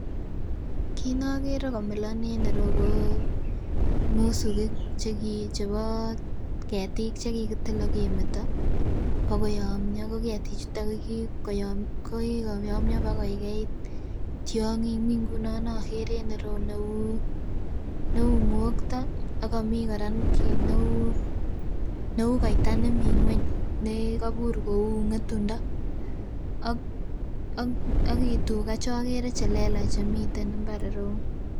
Kit nokere komilon en ireyu ko musukik chebo ketik che kikitil akemeto bakoyomyo. Ko ketiik chuton kokikoyomio bakoikeit tiong'ik, mi ngunon nokere en ireyu neu ng'okto akomii kora kit neu neu koita nemii ng'weny nekobur kou ng'etundo ak tuga chokere chelelach chemiten mbar ireyu